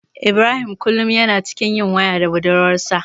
Ibrahim kullum yana cikin yin waya da budurwarsa.